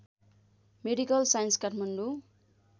medical science Kathmandu